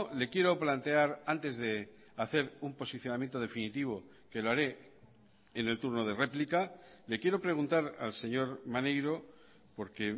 le quiero plantear antes de hacer un posicionamiento definitivo que lo haré en el turno de réplica le quiero preguntar al señor maneiro porque